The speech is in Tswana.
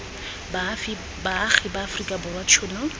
baagi ba aforika borwa tshono